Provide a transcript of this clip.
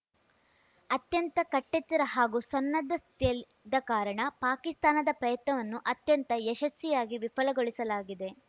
ಅತ್ಯಂತ ಕಟ್ಟೆಚ್ಚರ ಹಾಗೂ ಸನ್ನದ್ಧ ಸ್ಥಿತಿಯಲ್ಲಿದ್ದ ಕಾರಣ ಪಾಕಿಸ್ತಾನದ ಪ್ರಯತ್ನವನ್ನು ಅತ್ಯಂತ ಯಶಸ್ವಿಯಾಗಿ ವಿಫಲಗೊಳಿಸಲಾಗಿದೆ